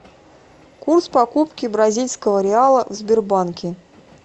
курс покупки бразильского реала в сбербанке